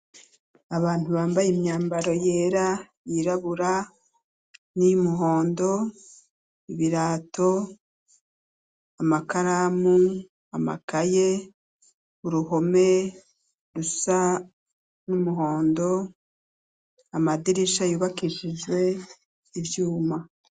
Abantu bambaye imyambaro yera yirabura, n'iy'umuhondo, ibirato, amakaramu, amakaye uruhome rusa n'umuhondo amadirisha yubakishijwe ivyuma.